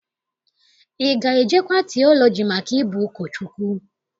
Ị ga-ejekwa tiọlọji maka ịbụ ụkọchukwu?